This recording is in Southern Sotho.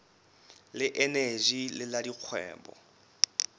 le eneji le la dikgwebo